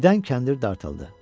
Birdən kəndir dartıldı.